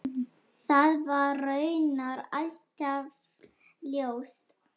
Það var raunar alltaf ljóst.